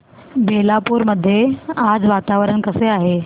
बेलापुर मध्ये आज वातावरण कसे आहे